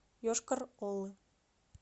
йошкар олы